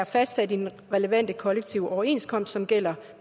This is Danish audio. fastsat i den relevante kollektive overenskomst som gælder